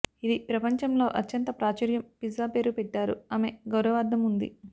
ఇది ప్రపంచంలో అత్యంత ప్రాచుర్యం పిజ్జా పేరు పెట్టారు ఆమె గౌరవార్ధం ఉంది